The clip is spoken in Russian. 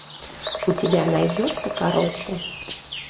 у тебя найдется короче